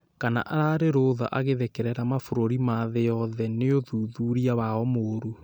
Kana ararĩ rũtha agĩthekerera mabũrũri ma thĩ yothe nĩũ thuthuria wao mũru